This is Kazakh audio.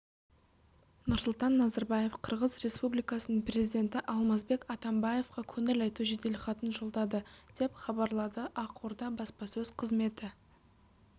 нұрсұлтан назарбаев қырғыз республикасының президенті алмазбек атамбаевқа көңіл айту жеделхатын жолдады деп хабарлады ақорда баспасөз қызметі